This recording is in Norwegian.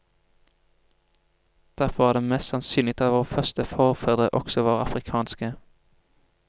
Derfor er det mest sannsynlig at våre første forfedre også var afrikanske.